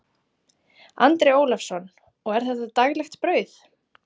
Andri Ólafsson: Og er þetta daglegt brauð?